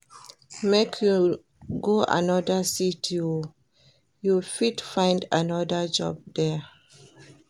Make you go anoda city o, you fit find anoda job there.